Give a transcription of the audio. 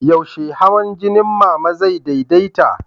Yaushe hawan jinin Mama zai daidaita?